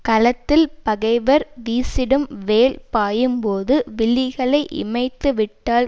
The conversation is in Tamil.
களத்தில் பகைவர் வீசிடும் வேல் பாயும்போது விழிகளை இமைத்து விட்டால்